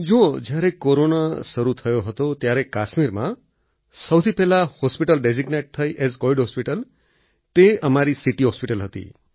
જુઓ જ્યારે કોરોના શરૂ થયો હતો ત્યારે કાશ્મીરમાં સૌથી પહેલા હોસ્પિટલ ડેઝિગ્નેટ થઈ એએસ કોવિડ હોસ્પિટલ તે અમારી સીટી હોસ્પિટલ હતી